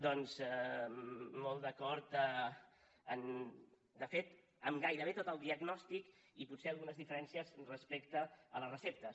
doncs molt d’acord de fet amb gairebé tot el diagnòstic i potser algunes diferències respecte a les receptes